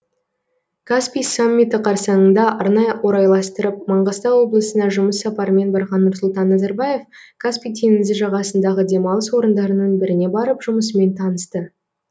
каспий саммиті қарсаңында арнайы орайластырып маңғыстау облысына жұмыс сапарымен барған нұрсұлтан назарбаев каспий теңізі жағасындағы демалыс орындарының біріне барып жұмысымен танысты